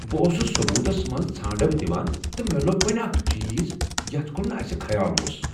بہٕ اوسُس ثبوُتس منٛز ژھانٛڑو دِوان تہٕ مےٚلو٘ب وُنۍ اکھ چیز یتھ كُن نہٕ اسہِ خیال اوس ۔